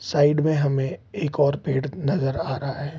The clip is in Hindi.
साइड में हमें एक और पेड़ नजर आ रहा है।